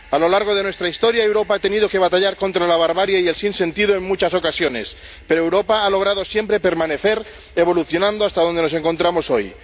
A lo largo de nuestra historia, Europa ha tenido que batallar contra la barbarie y el sinsentido en muchas ocasiones, pero Europa ha logrado siempre permanecer, evolucionando hasta donde nos encontramos hoy.